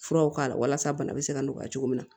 Furaw k'a la walasa bana bɛ se ka nɔgɔya cogo min na